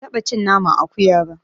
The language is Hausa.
Ban taɓa cin naman akuya ba.